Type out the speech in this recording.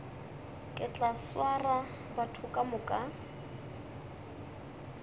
ke tla swara batho kamoka